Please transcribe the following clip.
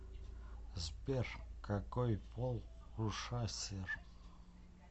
сбер какой пол у шасер